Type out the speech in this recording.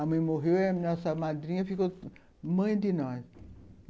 A mãe morreu e a nossa madrinha ficou mãe de nós.